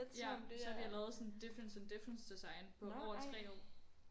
Ja så har de lavet sådan et difference and difference design på over 3 år